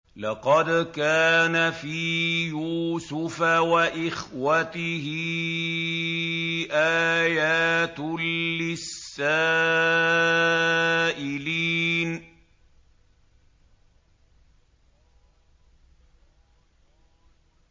۞ لَّقَدْ كَانَ فِي يُوسُفَ وَإِخْوَتِهِ آيَاتٌ لِّلسَّائِلِينَ